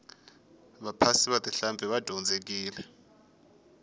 vaphasi va tihlampfi va dyondzekile